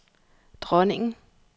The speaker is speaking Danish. dronningen